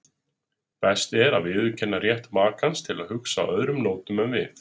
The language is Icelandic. Best er að viðurkenna rétt makans til að hugsa á öðrum nótum en við.